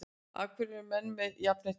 Af hverju eru menn með jafnheitt blóð?